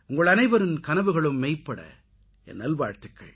உங்கள் அனைவரின் கனவுகளும் மெய்ப்பட என் நல் வாழ்த்துகள்